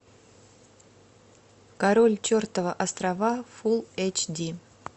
король чертова острова фул эйч ди